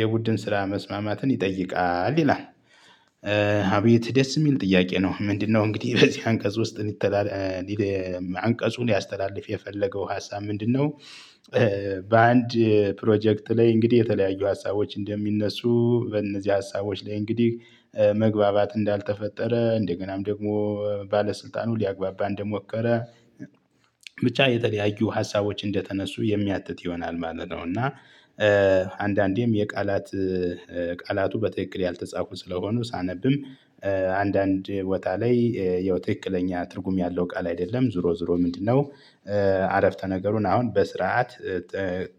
የቡድን ስራ መስማማትን ይጠይቃል ይላል። አቤት ደስ እሚል ጥያቄ ነው። ምንድነው? እንግዲህ ከዚህ አንቀጽ ውስጥ እንዲተላለ አንቀጹን ሊያስተላልፍ የፈለገው ሀሳብ ምንድነው? በአንድ ፕሮጀክት ላይ እንግዲህ የተለያዩ ሀሳቦች እንደሚነሱ በእነዚህ ሀሳቦች ላይ እንግዲህ መግባባት እንዳልተፈጠረ እንደገናም ደግሞ ባለስልጣኑ ሊያግባባን እንደሞከረ ብቻ የተለያዩ ሀሳቦች እንደተነሱ የሚያትት ይሆናል ማለት ነው። እና አንዳንዴም የቃላት ቃላቱ በትክክል ያልተጻፉ ስለሆኑ ሳነብም አንዳንድ ወታ ላይ ያው ትክክለኛ ትርጉም ያለው ቃል አይደለም ዞሮ ዞሮ ምንድነው? አረፍተ ነገሩን አሁን በስርዓት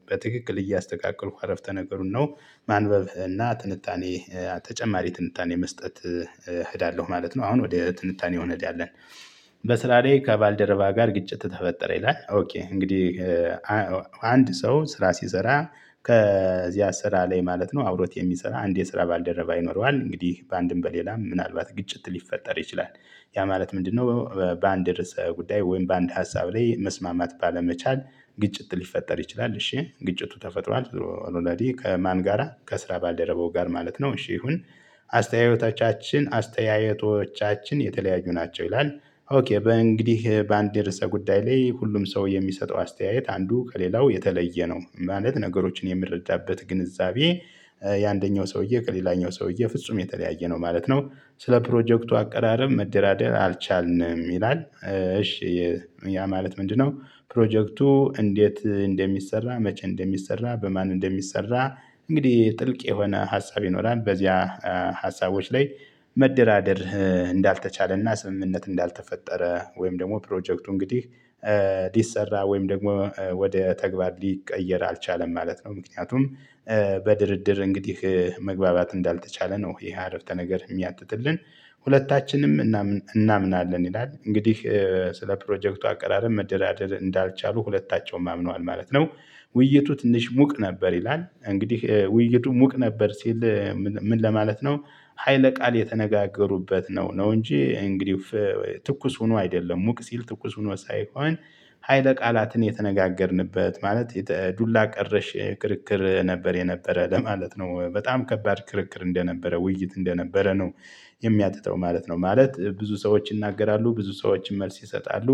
በትክክል እያስተካከልኩ አረፍተ ነገሩን ነው። ማንበብ እና ትንታኔ ተጨማሪ ትንታኔ መስጠት እሄዳለሁ ማለት ነው። አሁን ወደ ትንታኔው እነህዳለን። በስራ ላይ ከባልደረባ ጋር ግጭት ተፈጠረ ይላል ኦኬ እንግዲህ አንድ ሰው ስራ ሲሰራ ከዚያ ስራ ላይ ማለት ነው አብሮት የሚሰራ አንድ የስራ ባልደረባ ይኖረዋል እንግዲህ በአንድም በሌላ ምናልባት ግጭት ሊፈጠር ይችላል። ያ ማለት ምንድነው? በአንድ ርዕሰ ጉዳይ ወይም በአንድ ሀሳብ ላይ መስማማት ባለመቻል ግጭት ሊፈጠር ይችላል። እሺ ግጭቱ ተፈጥሯል ዞሮ ከማን ጋራ ከስራ ባልደረበው ጋር ማለት ነው። እሺ ይሁን አስተያየቶቻችን አስተያየቶቻችን የተለያዩ ናቸው ይላል። ኦኬ በእንግዲህ በአንድ ርዕሰ ጉዳይ ላይ ሁሉም ሰው የሚሰጠው አስተያየት አንዱ ከሌላው የተለየ ነው ማለት ነገሮችን የምረዳበት ግንዛቤ የአንደኛው ሰውዬ ከሌላኛው ሰውዬ ፍጹም የተለያየ ነው ማለት ነው። ስለ ፕሮጀክቱ አቀራረብ መደራደር አልቻልንም ይላል። እሺ ያ ማለት ምንድነው? ፕሮጀክቱ እንዴት እንደሚሰራ መቼ እንደሚሰራ በማን እንደሚሰራ እንግዲህ ጥልቅ የሆነ ሀሳብ ይኖራል በዚያ ሀሳቦች ላይ መደራደር እንዳልተቻለና ስምምነት እንዳልተፈጠረ ወይም ደግሞ ፕሮጀክቱ እንግዲህ ሊሰራ ወይም ደግሞ ወደ ተግባር ሊቀየር አልቻለም ማለት ነው። ምክንያቱም በድርድር እንግዲህ መግባባት እንዳልተቻለ ነው። ይሄ አረፍተ ነገር እሚያትትልን። ሁለታችንም እናምናለን ይላል እንግዲህ ስለ ፕሮጀክቱ አቀራረብ መደራደር እንዳልቻሉ ሁለታቸውም አምነዋል ማለት ነው። ውይይቱ ትንሽ ሙቅ ነበር ይላል። እንግዲህ ውይይቱ ሙቅ ነበር ሲል ምን ለማለት ነው? ሀይለ ቃል የተነጋገሩበት ነው ነው እንጂ እንግዲህ ትኩስ ሆኖ አይደለም ሙቅ ሲል ትኩስ ሆኖ ሳይሆን ሀይለ ቃላትን የተነጋገርንበት ማለት ዱላ ቀረሽ ክርክር ነበር የነበረ ለማለት ነው በጣም ከባድ ክርክር እንደነበረ ውይይት እንደነበረ ነው። የሚያትተው ማለት ነው ማለት ብዙ ሰዎች ይናገራሉ ብዙ ሰዎችን መልስ ይሰጣሉ።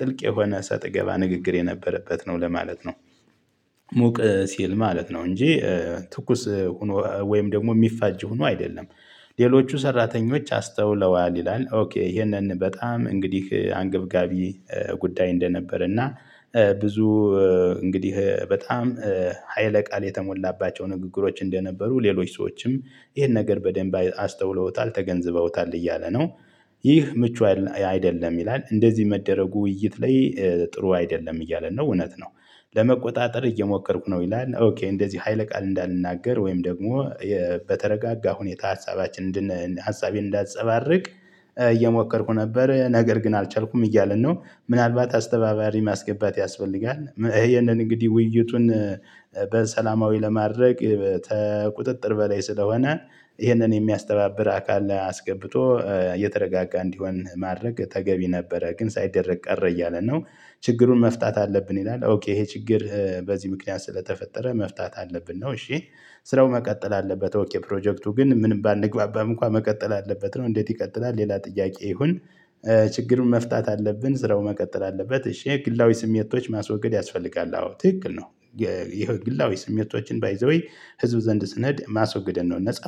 ጥልቅ የሆነ ሰጥገባ ንግግር የነበረበት ነው ለማለት ነው። ሙቅ ሲል ማለት ነው እንጂ ትኩስ ሁኖ ወይም ደግሞ የሚፋጅ ሆኖ አይደለም። ሌሎቹ ሰራተኞች አስተውለዋል ይላል። ኦኬ ይሄንን በጣም እንግዲህ አንገብጋቢ ጉዳይ እንደነበር እና ብዙ እንግዲህ በጣም ሀይለ ቃል የተሞላባቸው ንግግሮች እንደነበሩ ሌሎች ሰዎችም ይሄን ነገር በደንብ አስተውለውታል ተገንዝበውታል እያለ ነው። ይህ ምቹ አይደለም ይላል። እንደዚህ መደረጉ ውይይት ላይ ጥሩ አይደለም እያለ ነው እውነት ነው። ለመቆጣጠር እየሞከርኩ ነው ይላል። ኦኬ እንደዚህ ሀይለ ቃል እንዳልናገር ወይም ደግሞ በተረጋጋ ሁኔታ ሀሳባችንን እንድን ሀሳቤን እንዳትፀባርቅ እየሞከርኩ ነበር ነገር ግን አልቻልኩም እያለን ነው። ምናልባት አስተባባሪ ማስገባት ያስፈልጋል ይሄነን እንደነግዲህ ውይይቱን በሰላማዊ ለማድረግ ተቁጥጥር በላይ ስለሆነ ይሄንን የሚያስተባብር አካል አስገብቶ የተረጋጋ እንዲሆን ማድረግ ተገቢ ነበረ ግን ሳይደረግ ቀረ እያለ ነው። ችግሩን መፍታት አለብን ይላል። ኦኬ ይሄ ችግር በዚህ ምክንያት ስለተፈጠረ መፍታት አለብን ነው። እሺ ስራው መቀጠል አለበት። ኦኬ ፕሮጀክቱ ግን ምንም ባንግባባም እንኳን መቀጠል አለበት ነው። እንዴት ይቀጥላል? ሌላ ጥያቄ ይሁን። ችግሩን መፍታት አለብን ስራው መቀጠል አለበት እሺ ግላዊ ስሜቶች ማስወገድ ያስፈልጋል። አዎ ትክክል ነው። የህው ግላዊ ስሜቶችን ባይ ዘ ዌይ ህዝብ ዘንድ ስነድ ማስወግድን ነው።